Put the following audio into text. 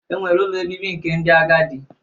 E nwere ụlọ obibi nke ndi agadi